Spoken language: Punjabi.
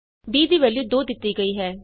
b ਦੀ ਵੈਲਯੂ 2 ਦਿੱਤੀ ਗਈ ਹੈ